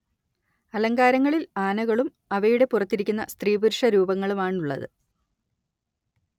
അലങ്കാരങ്ങളിൽ ആനകളും അവയുടെ പുറത്തിരിക്കുന്ന സ്ത്രീപുരുഷ രൂപങ്ങളുമാണുള്ളത്